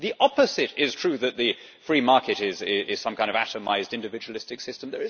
The opposite is true that the free market is some kind of atomised individualistic system.